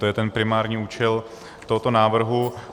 To je ten primární účel tohoto návrhu.